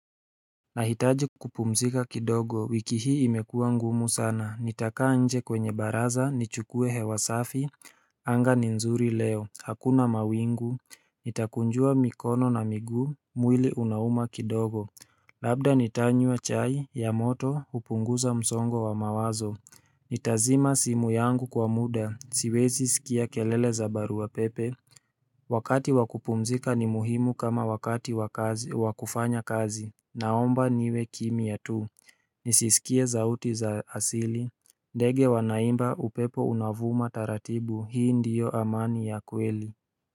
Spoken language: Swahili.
Nahitaji kupumzika kidogo wiki hii imekua ngumu sana nitakaa nje kwenye baraza nichukue hewa safi anga ni nzuri leo hakuna mawingu Nitakunjua mikono na miguu mwili unauma kidogo Labda nitanywa chai ya moto hupunguza msongo wa mawazo Nitazima simu yangu kwa muda siwezi sikia kelele za barua pepe Wakati wa kupumzika ni muhimu kama wakati wakufanya kazi Naomba niwe kimya tu Nisisikie zauti za asili ndege wanaimba upepo unavuma taratibu hii ndiyo amani ya kweli.